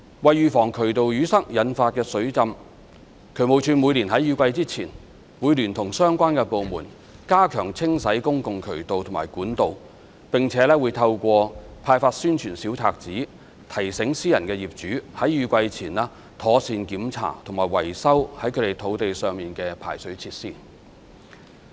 為預防渠道淤塞引發的水浸，渠務署每年在雨季前會聯同相關部門加強清洗公共渠道及管道，並且會透過派發宣傳小冊子，提醒私人業主在雨季前妥善檢查及維修在他們土地上的排水設施。